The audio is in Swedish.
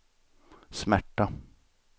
smärta